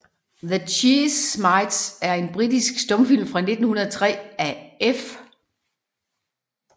The Cheese Mites er en britisk stumfilm fra 1903 af F